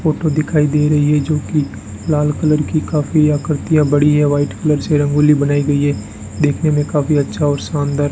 photo दिखाई दे रही है जो की लाल कलर की काफी आकृतियां बड़ी है वाइट कलर से रंगोली बनाई गई है देखने में काफी अच्छा और शानदार --